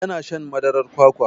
Ya na shan madarar kwakwa.